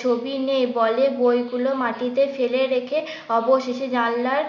ছবি নেই বলে বইগুলো মাটিতে ফেলে রেখে অবশেষে জানলার